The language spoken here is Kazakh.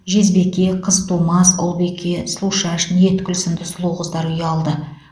жезбике қызтумас ұлбике сұлушаш ниеткүл сынды сұлу қыздар ұялды